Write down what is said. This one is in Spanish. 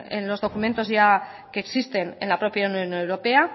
en los documentos que existen en la propia unión europea